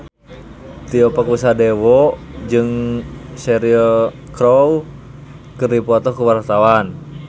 Tio Pakusadewo jeung Cheryl Crow keur dipoto ku wartawan